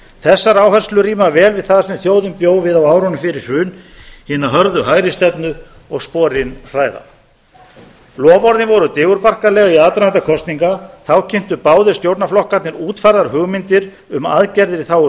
þessar áherslur ríma vel við það sem þjóðin bjó við á árunum fyrir hrun hina hörðu hægri stefnu og sporin hræða loforðin voru digurbarkaleg í aðdraganda kosninga þá kynntu báðir stjórnarflokkarnir útfærðar hugmyndir um aðgerðir í þágu